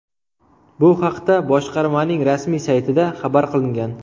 Bu haqda boshqarmaning rasmiy saytida xabar qilingan .